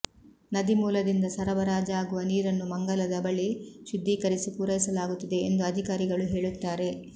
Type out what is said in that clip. ನದಿಮೂಲದಿಂದ ಸರಬರಾಜಾಗುವ ನೀರನ್ನು ಮಂಗಲದ ಬಳಿ ಶುದ್ಧೀಕರಿಸಿ ಪೂರೈಸಲಾಗುತ್ತಿದೆ ಎಂದು ಅಧಿಕಾರಿಗಳು ಹೇಳುತ್ತಾರೆ